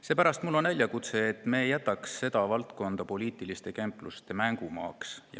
Seepärast on mul üleskutse, et me ei jätaks seda valdkonda poliitiliste kempluste mängumaaks.